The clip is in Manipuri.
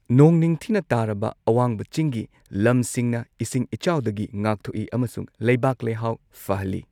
ꯅꯣꯡ ꯅꯤꯡꯊꯤꯅ ꯇꯥꯔꯕ ꯑꯋꯥꯡꯕ ꯆꯤꯡꯒꯤ ꯂꯝꯁꯤꯡꯅ ꯏꯁꯤꯡ ꯏꯆꯥꯎꯗꯒꯤ ꯉꯥꯛꯊꯣꯛꯏ ꯑꯃꯁꯨꯡ ꯂꯩꯕꯥꯛ ꯂꯩꯍꯥꯎ ꯐꯍꯜꯂꯤ꯫